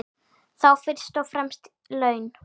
Þá fyrst og fremst laun.